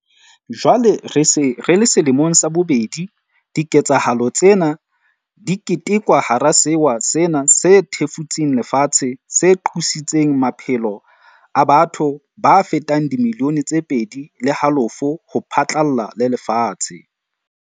Jwale re se re le selemong sa bobedi bobedi, diketsahalo tsena di ketekwa hara sewa sena se thefutseng lefatshe se qositseng maphelo a batho ba fetang dimilione tse pedi le halofo ho phatlalla le lefatshe.